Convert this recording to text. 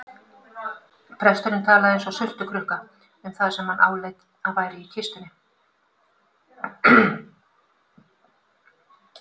Presturinn talaði eins og sultukrukka um það sem hann áleit að væri í kistunni.